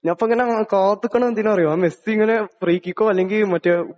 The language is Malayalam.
ഞാനിപ്പോ ഇങ്ങനെ കാത്ത് നിക്കണത് എന്തിനാ നു അറിയാമോ? ആ മെസ്സി ഇങ്ങനെ ഫ്രീ കിക്കോ അല്ലെങ്കിൽ മറ്റേ